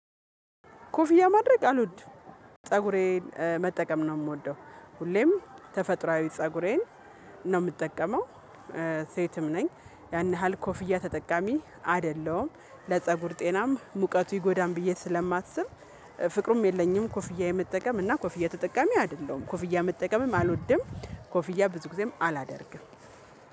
ኮፍያ ማድረግ አልወድም ፀጉሬን መጠቀም ነው የምወደው ሁሌም ተፈጥሮአዊ ፀጉሬን ነው የምጠቀመው። ሴትም ነኝ ያን ያህል ኮፍያ ተጠቃሚ አይደለሁም ለፀጉር ጤናም ሙቀቱ ይጎዳል ብዬ ስለማስብ። ፍቅሩም የለኝም ኮፍያ የመጠቀም እና ኮፍያ ተጠቃሚ አይደለሁም ኮፍዬ መጠቀምም አልወድም። ኮፍዬ ብዙ ጊዜም አላደርግም